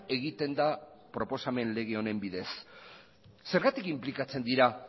egiten da proposamen lege honen bidez zergatik inplikatzen dira